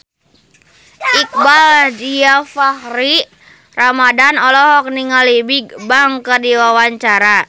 Iqbaal Dhiafakhri Ramadhan olohok ningali Bigbang keur diwawancara